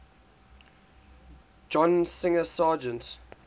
john singer sargent